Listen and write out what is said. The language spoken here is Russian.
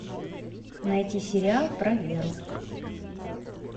найти сериал про веру